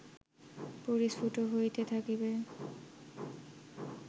পরিস্ফুট হইতে থাকিবে